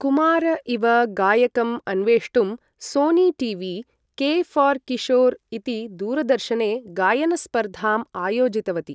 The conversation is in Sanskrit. कुमार इव गायकम् अन्वेष्टुं Sony TV. K for Kishore इति दूरदर्शने गायनस्पर्धाम् आयोजितवती।